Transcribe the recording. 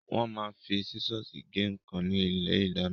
Wọ́n máa ń fi sísọ́ọ̀sì gé nǹkan ní ilé-ìdáná.